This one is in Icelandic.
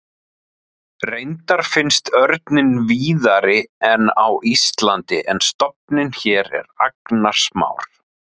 Reyndar finnst örninn víðari en á Íslandi en stofninn hér er agnarsmár.